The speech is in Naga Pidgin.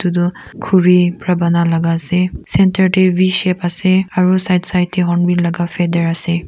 etu khori para bana laga ase centre teh v shape ase aro side side teh hornbill laga feather ase.